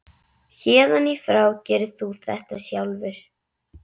Héðan í frá gerir þú þetta sjálfur.